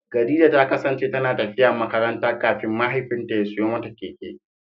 Khadija ta kasance tana tafiya makaranta kafin mahaifinta ya siyo mata keke.